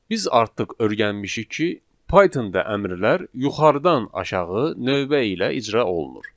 Biz artıq öyrənmişik ki, Pythonda əmrlər yuxarıdan aşağı növbə ilə icra olunur.